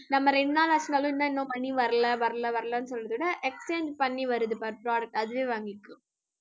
நம்ம ரெண்டு நாள் ஆச்சினாலும் இன்னும் money வரல வரல வரலன்னு சொல்றதோட exchange பண்ணி வருது பாரு product அதுவே வாங்கிக்கோ